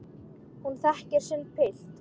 Hún þekkir sinn pilt.